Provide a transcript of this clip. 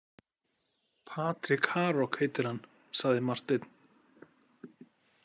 Patrik Harok heitir hann, sagði Marteinn.